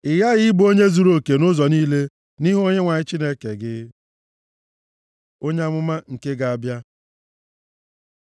Ị ghaghị ịbụ onye zuruoke nʼụzọ niile nʼihu Onyenwe anyị Chineke gị. Onye amụma nke ga-abịa